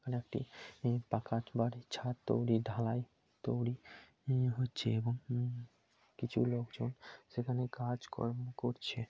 এখানে একটি ই পাকাট বাড়ির ছাদ তৈরী ঢালাই তৈরী হচ্ছে এবং উম কিছু লোকজন সেখানে কাজ কর্ম করছে।